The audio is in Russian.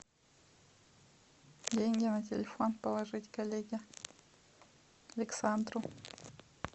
деньги на телефон положить коллеге александру